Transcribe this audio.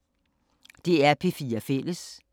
DR P4 Fælles